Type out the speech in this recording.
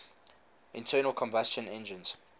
internal combustion engines